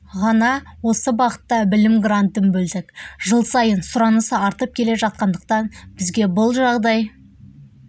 ғана осы бағытта білім грантын бөлдік жыл сайын сұраныс артып келе жатқандықтан бізге бұл жағдай